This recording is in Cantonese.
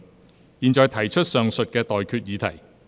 我現在向各位提出上述待決議題。